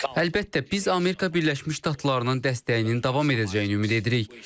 Əlbəttə, biz Amerika Birləşmiş Ştatlarının dəstəyinin davam edəcəyini ümid edirik.